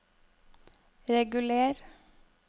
reguler